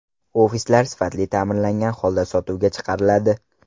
Ofislar sifatli ta’mirlangan holda sotuvga chiqariladi.